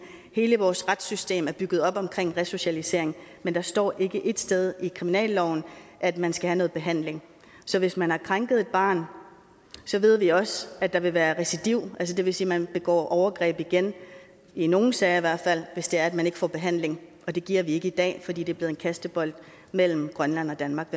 hele vores retssystem er bygget op omkring resocialisering men der står ikke ét sted i kriminalloven at man skal have noget behandling så hvis man har krænket et barn ved vi også at der vil være recidiv altså det vil sige at man begår overgreb igen i nogle sager i hvert fald hvis det er at man ikke får behandling det giver vi ikke i dag fordi det er blevet en kastebold mellem grønland og danmark